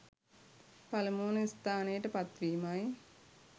පළමුවන ස්ථානයට පත්වීමයි.